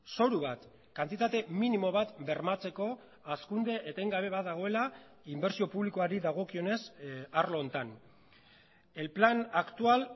zoru bat kantitate minimo bat bermatzeko hazkunde etengabe bat dagoela inbertsio publikoari dagokionez arlo honetan el plan actual